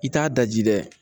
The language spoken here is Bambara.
I t'a daji dɛ